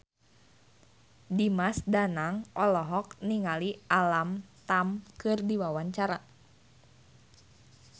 Dimas Danang olohok ningali Alam Tam keur diwawancara